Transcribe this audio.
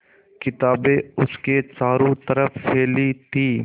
किताबें उसके चारों तरफ़ फैली थीं